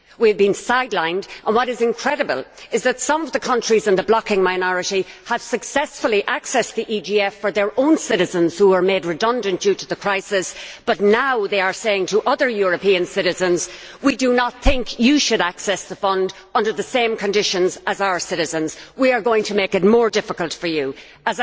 We have been sidelined, and what is incredible is that some of the countries in the blocking minority successfully accessed the EGF for their own citizens who were made redundant due to the crisis, but are now saying to other European citizens that they do not think they should access the fund under the same conditions as their citizens, and that they are going to make it more difficult for them to do this.